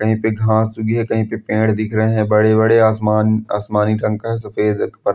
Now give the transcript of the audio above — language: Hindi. कही पे घास कही पे पेड़ दिख रहे है बड़े बड़े आसमानी रंग सफ़ेद है|